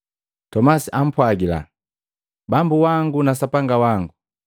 Tomasi ampwagila, “Bambu wangu na Sapanga wangu!”